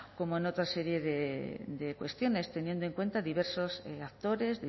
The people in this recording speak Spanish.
como en otra serie de cuestiones teniendo en cuenta diversos actores